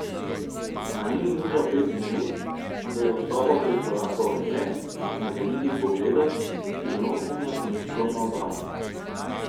A ni minilo pet minut, ko je v sobo prikorakal Anže z nagajivim pogledom in skrivnostnim nasmeškom na obrazu.